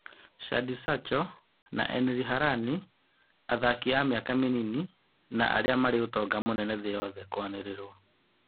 Shadi Sacho na Eri Harani: Athaki a mĩaka mĩnini na arĩa marĩ ũtonga mũnene thĩ yothe kũanĩrĩrwo